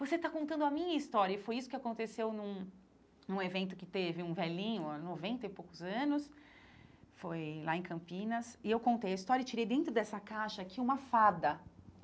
Você está contando a minha história, e foi isso que aconteceu num num evento que teve um velhinho, noventa e poucos anos, foi lá em Campinas, e eu contei a história e tirei dentro dessa caixa aqui uma fada.